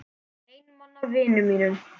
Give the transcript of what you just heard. Einmana vinum mínum.